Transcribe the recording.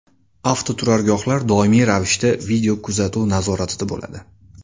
Avtoturargohlar doimiy ravishda videokuzatuv nazoratida bo‘ladi.